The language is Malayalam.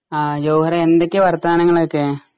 ആ ജവഹറേ എന്തൊക്കെയാ വർത്താനങ്ങളൊക്കെ?